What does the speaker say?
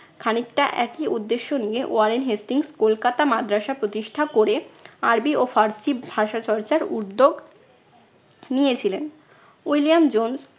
খানিকটা একই উদ্দেশ্য নিয়ে ওয়ারেন হেস্টিংস কলকাতা মাদ্রাসা প্রতিষ্ঠা করে আরবি ও ফার্সি ভাষা চর্চার উদ্যোগ নিয়েছিলেন। William Jones